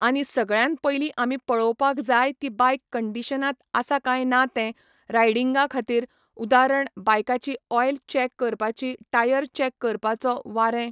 आनी सगळ्यान पयली आमी पळोवपाक जाय ती बायक कंडीशनांत आसा काय ना तें रायडिंगाखातीर उदारण बायकाची ऑयल चॅक करपाची टायर चॅक करपाचो वारें.